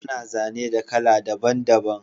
Ana zane da kala daban daban